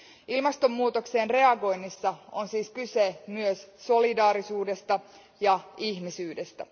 Ilmastonmuutokseen reagoinnissa on siis kyse myös solidaarisuudesta ja ihmisyydestä.